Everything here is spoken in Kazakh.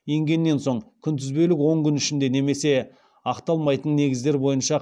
енгеннен соң күнтізбелік он күн ішінде немесе ақталмайтын негіздер бойынша